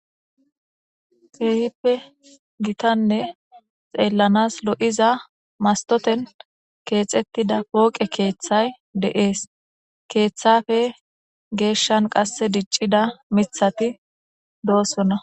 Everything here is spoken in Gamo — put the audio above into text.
keehippe gitanne xeellanas lo7iza mastoten keexettida pooqe keeththay deees keeththafe geeshshan qasse diccida mithati doosona